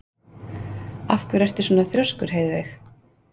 Af hverju ertu svona þrjóskur, Heiðveig?